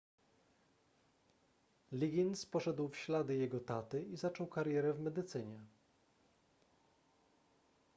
liggins poszedł w ślady jego taty i zaczął karierę w medycynie